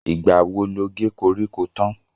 Ìgbà wo lo ge koríko tán?